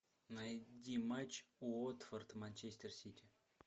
найди матч уотфорд манчестер сити